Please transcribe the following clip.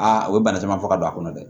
Aa u ye bana caman fɔ ka don a kɔnɔ dɛ